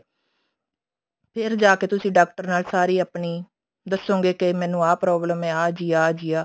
ਫੇਰ ਜਾ ਕੇ ਤੁਸੀਂ ਡਾਕਟਰ ਨਾਲ ਸਾਰੀ ਆਪਣੀ ਦਸੋਗੇ ਕੇ ਮੈਨੂੰ ਆਹ problem ਹੈ ਜੀ ਆਹ ਜੀ ਆਹ